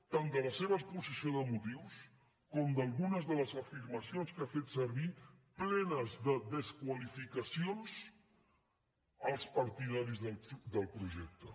tant de la seva exposició de motius com d’algunes de les afirmacions que ha fet servir plenes de desqualificacions als partidaris del projecte